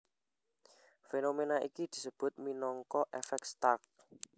Fénoména iki disebut minangka èfèk Stark